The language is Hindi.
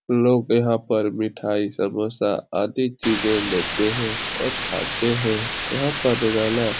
लोग यहाँ पर मिठाई समोसा आदि चीज़े लेते हैं और खाते हैं यहाँ पर रोजाना --